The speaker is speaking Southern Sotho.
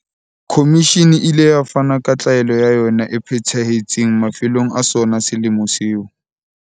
Komishini e ile ya fana ka tlaelo ya yona e phethahetseng mafelong a sona selemo seo.